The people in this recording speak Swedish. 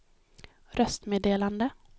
röstmeddelande